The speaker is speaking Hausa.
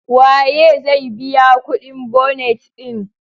Waye zai biya kudin bonet din?